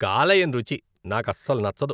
కాలేయం రుచి నాకస్సలు నచ్చదు.